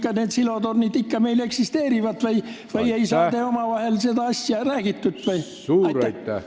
Kas need silotornid meil ikka eksisteerivad või ei saa te omavahel seda asja räägitud?